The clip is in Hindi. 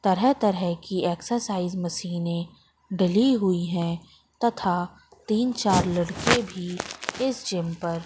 तरह तरह की एक्सरसाइज मशीनें डली हुई हैं तथा तीन चार लड़के भी इस जिम पर--